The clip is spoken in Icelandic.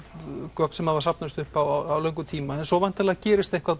gögn sem hafa safnast upp á löngum tíma en svo væntanlega gerist eitthvað